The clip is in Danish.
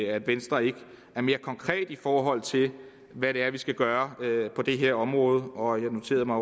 at venstre ikke er mere konkret i forhold til hvad vi skal gøre på det her område og jeg noterede mig